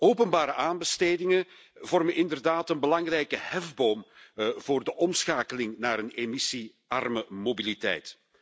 Openbare aanbestedingen vormen inderdaad een belangrijke hefboom voor de omschakeling naar een emissiearme mobiliteit.